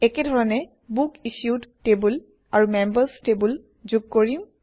একে ধৰণে book issued table আৰু মেম্বাৰ্ছ টেবুল যোগ কৰিম